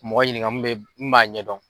Mɔgɔ ɲininka mun bɛ mun b'a ɲɛdɔn.